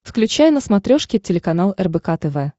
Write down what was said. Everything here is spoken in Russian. включай на смотрешке телеканал рбк тв